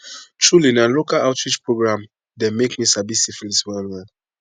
truely na local outreach program dem make me sabi syphilis well well